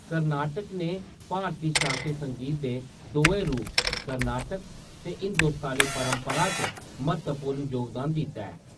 कर्नाटक ने भारती शास्त्रीय संगीत दे दोऐ रूप, कर्नाटक ते हिंदुस्तानी परंपरा च म्हत्तवपूर्ण जोगदान दित्ता ऐ।